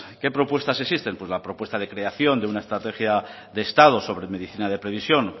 qué propuestas existen pues la propuesta de creación de una estrategia de estado sobre medicina de previsión